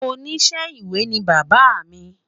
oníṣe ìwé ni bàbá mí